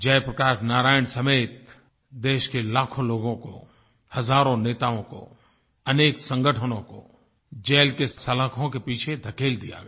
जयप्रकाश नारायण समेत देश के लाखों लोगों को हजारों नेताओं को अनेक संगठनों को जेल के सलाखों के पीछे धकेल दिया गया